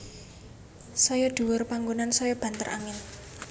Saya dhuwur panggonan saya banter angin